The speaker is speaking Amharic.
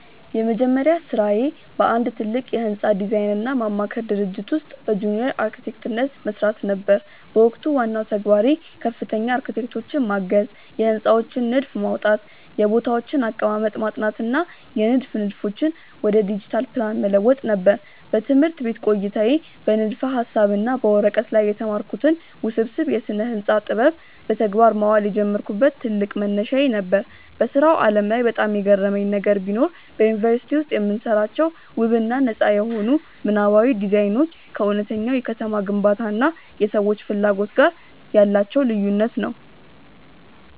የመጀመሪያ ሥራዬ በአንድ ትልቅ የሕንፃ ዲዛይንና ማማከር ድርጅት ውስጥ በጁኒየር አርክቴክትነት መሥራት ነበር። በወቅቱ ዋናው ተግባሬ ከፍተኛ አርክቴክቶችን ማገዝ፣ የሕንፃዎችን ንድፍ ማውጣት፣ የቦታዎችን አቀማመጥ ማጥናት እና የንድፍ ንድፎችን ወደ ዲጂታል ፕላን መለወጥ ነበር። በትምህርት ቤት ቆይታዬ በንድፈ-ሐሳብ እና በወረቀት ላይ የተማርኩትን ውስብስብ የስነ-ህንፃ ጥበብ በተግባር ማዋል የጀመርኩበት ትልቅ መነሻዬ ነበር። በሥራው ዓለም ላይ በጣም የገረመኝ ነገር ቢኖር፣ በዩኒቨርሲቲ ውስጥ የምንሰራቸው ውብ እና ነጻ የሆኑ ምናባዊ ዲዛይኖች ከእውነተኛው የከተማ ግንባታ እና የሰዎች ፍላጎት ጋር ያላቸው ልዩነት ነው።